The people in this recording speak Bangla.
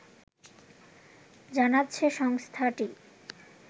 জানাচ্ছে সংস্থাটি